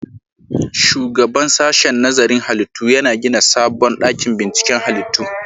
Shugaban sashen nazarin halittu yana gina sabon dakin binciken halittu